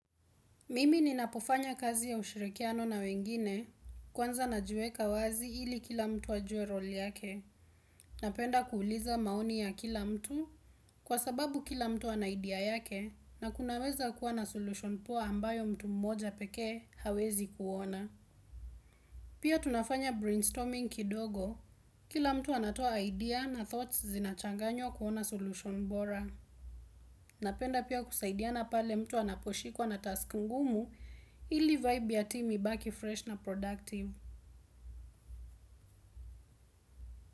Mimi ninapofanya kazi ya ushirikiano na wengine, kwanza na jiweka wazi ili kila mtu ajuwe role yake. Napenda kuuliza maoni ya kila mtu kwa sababu kila mtu ana idea yake na kunaweza kuwa na solution poa ambayo mtu mmoja pekee hawezi kuona. Pia tunafanya brainstorming kidogo, kila mtu anatoa idea na thoughts zinachanganyww kuona solution bora. Napenda pia kusaidiana pale mtu anaposhikwa na task ngumu ili vibe ya timu ibaki fresh na productive.